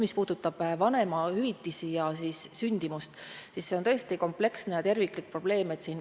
Mis puudutab vanemahüvitisi ja siis sündimust, siis see on tõesti kompleksne ja terviklik probleem.